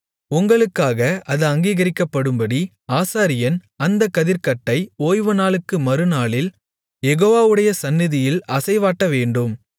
உங்களுக்காக அது அங்கீகரிக்கப்படும்படி ஆசாரியன் அந்தக் கதிர்க்கட்டை ஓய்வுநாளுக்கு மறுநாளில் யெகோவாடைய சந்நிதியில் அசைவாட்டவேண்டும்